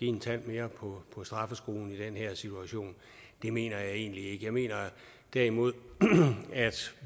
en tand mere på straffeskruen i den her situation det mener jeg egentlig ikke jeg mener derimod at